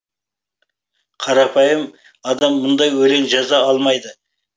қарапайым адам мұндай өлең жаза алмайды